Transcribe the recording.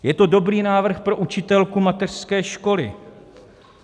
Je to dobrý návrh pro učitelku mateřské školy.